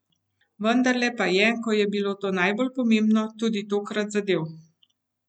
Vendarle pa je, ko je bilo to najbolj pomembno, tudi tokrat zadel.